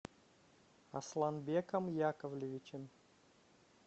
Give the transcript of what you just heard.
асланбеком яковлевичем